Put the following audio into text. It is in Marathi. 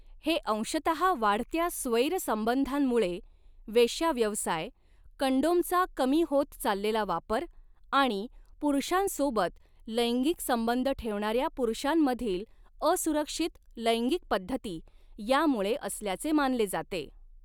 हे अंशतः वाढत्या स्वैर संबंधांमुळे, वेश्याव्यवसाय, कंडोमचा कमी होत चाललेला वापर आणि पुरुषांसोबत लैंगिक संबंध ठेवणार्या पुरुषांमधील असुरक्षित लैंगिक पद्धती यांमुळे असल्याचे मानले जाते.